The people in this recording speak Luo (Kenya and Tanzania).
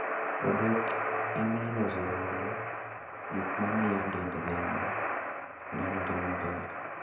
odok ema iloso godo gik ma miyo dend dhano nenore maber.